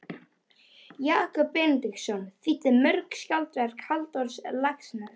Jakob Benediktsson þýddi mörg skáldverk Halldórs Laxness.